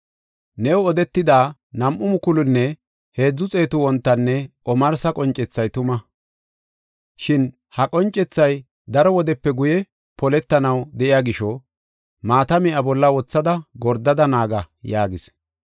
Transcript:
“New odetida nam7u mukulunne heedzu xeetu wontanne omarsa qoncethay tuma. Shin ha qoncethay daro wodepe guye poletanaw de7iya gisho, maatame iya bolla wothada gordada naaga” yaagis.